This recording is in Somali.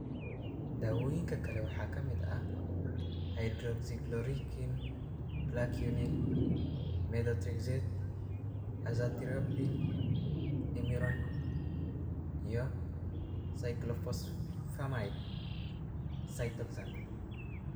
Daawooyinkan kale waxaa ka mid ah: hydroxychloroquine (Plaquenil), methotrexate, azathioprine (Imuran), iyo cyclophosphamide (Cytoxan).